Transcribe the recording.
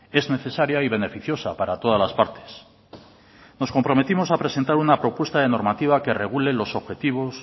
es necesaria y beneficiosa para todas las partes nos comprometimos a presentar una propuesta de normativa que regule los objetivos